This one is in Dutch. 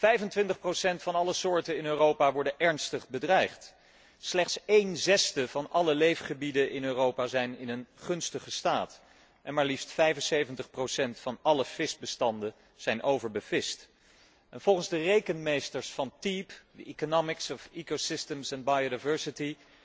25 van alle soorten in Europa worden ernstig bedreigd, slechts een zesde van alle leefgebieden in Europa zijn in een gunstige staat, en maar liefst 75 van alle visbestanden zijn overbevist. Volgens de rekenmeesters van TEEB, The Economics of Ecosystems and Biodiversity